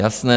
Jasné.